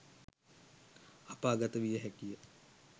අපාගත විය හැකිය